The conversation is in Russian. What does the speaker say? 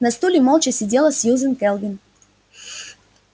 на стуле молча сидела сьюзен кэлвин